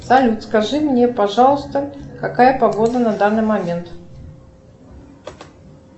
салют скажи мне пожалуйста какая погода на данный момент